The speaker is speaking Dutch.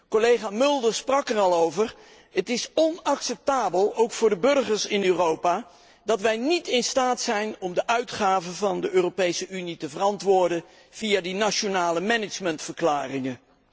Zoals Collega Mulder al zei is het onacceptabel, ook voor de burgers in Europa, dat wij niet in staat zijn om de uitgaven van de Europese Unie te verantwoorden via de nationale beheersverklaringen.